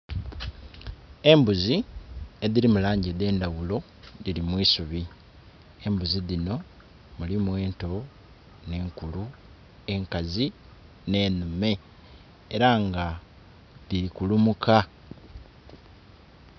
Embuzi edhiri mu langi edendhaghulo dhiri mwisubi. Embuzi dhino mulimu ento ne nkulu, enkazi ne nhume era nga dhiri kulumuka.